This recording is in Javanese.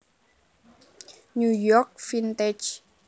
New York Vintage